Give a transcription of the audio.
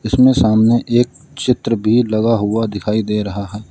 उसमें सामने एक चित्र भी लगा हुआ दिखाई दे रहा है।